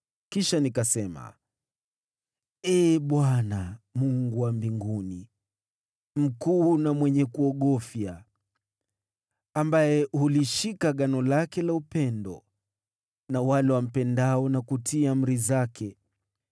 Kisha nikasema: “Ee Bwana , Mungu wa mbinguni, mkuu na mwenye kuogofya, ambaye hulishika agano lake la upendo na wale wampendao na kutii amri zake,